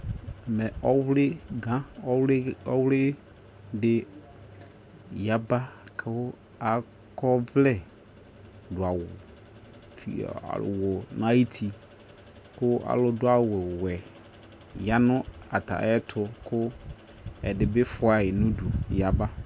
Ɛmɛ ɔwliga, ɔwli, ɔwli de yaba ko akɔ ɔvlɛ do awu na yiti ko ali do awuwɛ ya no ata ayeto ko ɛde be fua ye nudu yaba